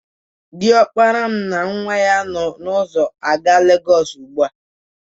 Diọkpala m na nwa ya nọ n'ụzọ aga Legọsụ ugbua.